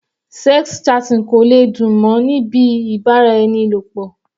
Sex chatting kò lè dùn mọ́ ni bíi ìbáraẹnilọ̀pọ̀.